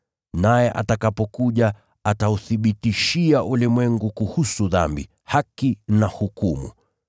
Naye atakapokuja, atauthibitishia ulimwengu kuhusu dhambi, haki na hukumu.